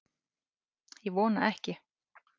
Ég vona ekki